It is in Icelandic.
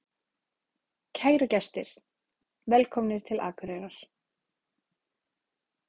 Kæru gestir! Velkomnir til Akureyrar.